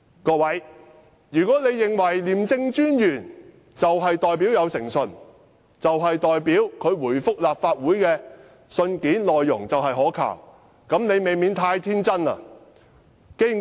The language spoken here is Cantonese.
各位，如果你們認為廉政專員有誠信，他回覆立法會的信件內容可靠，你們難免太天真了。